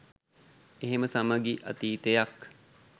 එහෙම සමගි අතීතයක්